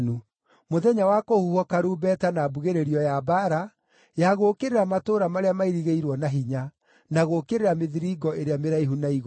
mũthenya wa kũhuhwo karumbeta na mbugĩrĩrio ya mbaara ya gũũkĩrĩra matũũra marĩa mairigĩirwo na hinya, na gũũkĩrĩra mĩthiringo ĩrĩa mĩraihu na igũrũ.